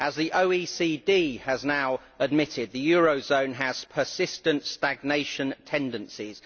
As the OECD has now admitted, the eurozone has persistent stagnation tendencies.